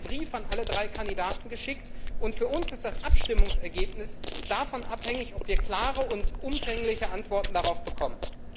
Wir haben einen Brief an alle drei Kandidaten geschickt, und für uns ist das Abstimmungsergebnis davon abhängig, ob wir klare und umfängliche Antworten darauf bekommen.